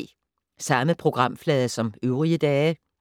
Samme programflade som øvrige dage